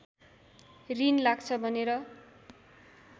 रिन लाग्छ भनेर